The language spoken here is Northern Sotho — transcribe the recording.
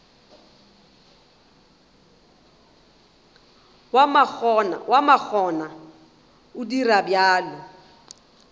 wa makgona o dira bjalo